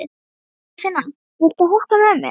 Ingifinna, viltu hoppa með mér?